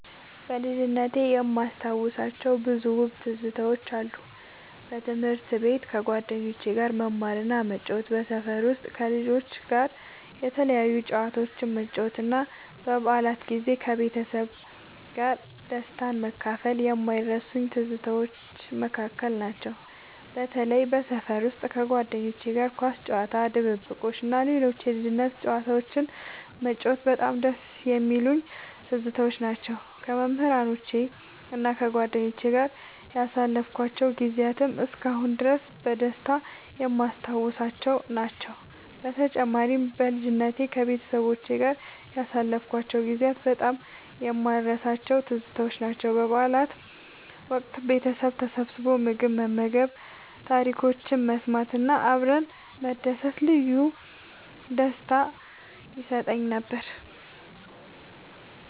ከልጅነቴ የማስታውሳቸው ብዙ ውብ ትዝታዎች አሉ። በትምህርት ቤት ከጓደኞቼ ጋር መማርና መጫወት፣ በሰፈር ውስጥ ከልጆች ጋር የተለያዩ ጨዋታዎችን መጫወት እና በበዓላት ጊዜ ከቤተሰቤ ጋር ደስታን መካፈል ከማይረሱኝ ትዝታዎች መካከል ናቸው። በተለይም በሰፈር ውስጥ ከጓደኞቼ ጋር ኳስ መጫወት፣ ድብብቆሽ እና ሌሎች የልጅነት ጨዋታዎችን መጫወት በጣም ደስ የሚሉኝ ትዝታዎች ናቸው። ከመምህራኖቼና ከጓደኞቼ ጋር ያሳለፍኳቸው ጊዜያትም እስካሁን ድረስ በደስታ የማስታውሳቸው ናቸው። በተጨማሪም፣ በልጅነቴ ከቤተሰቤ ጋር ያሳለፍኳቸው ጊዜያት በጣም የማልረሳቸው ትዝታዎች ናቸው። በበዓላት ወቅት ቤተሰብ ተሰብስቦ ምግብ መመገብ፣ ታሪኮችን መሰማት እና አብረን መደሰት ልዩ ደስታ ይሰጠኝ ነበር።